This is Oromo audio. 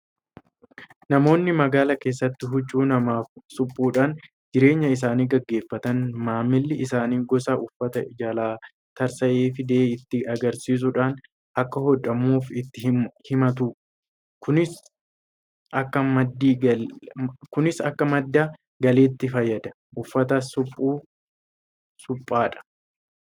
Namoonni magaalaa keessatti huccuu namaaf suphuudhaan jireenya isaanii gaggeeffatan maamilli isaanii gosa uffata jalaa tarsa'ee fidee itti agarsiisuudhaan akka hodhamuuf itti himatu. Kunis akka madda galiitti fayyada. Uffata suphuu, suphaadha